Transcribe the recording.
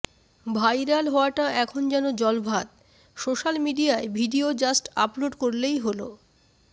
viral হওয়াটা এখন যেন জলভাত সোশ্যাল মিডিয়ায় ভিডিও জাস্ট আপলোড করলেই হল